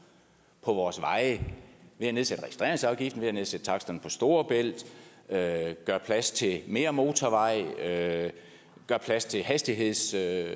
på vores veje ved at nedsætte registreringsafgiften ved at nedsætte taksterne på storebælt ved at gøre plads til mere motorvej ved at gøre plads til hastighedsforøgelser